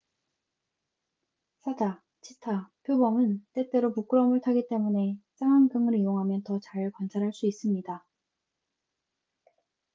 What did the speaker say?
사자 치타 표범은 때때로 부끄러움을 타기 때문에 쌍안경을 이용하면 더 잘 관찰할 수 있습니다